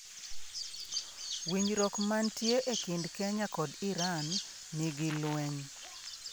Winjruok mantie e kind Kenya kod Iran nigi lweny